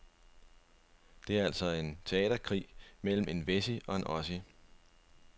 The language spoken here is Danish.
Det er altså en teaterkrig mellem en wessie og en ossie.